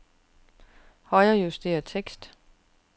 Højrejuster tekst.